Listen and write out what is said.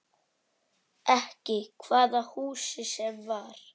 Ekki hvaða húsi sem var.